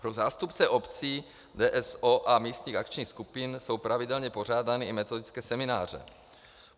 Pro zástupce obcí VOS a místních akčních skupin jsou pravidelně pořádány i metodické semináře.